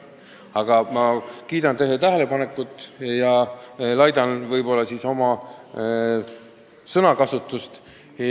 Aga ma kiidan teie tähelepanekut ja laidan siis oma sõnakasutust.